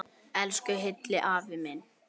Elsku Hilli afi minn.